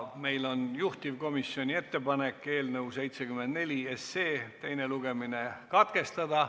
Meil on juhtivkomisjoni ettepanek eelnõu 74 teine lugemine katkestada.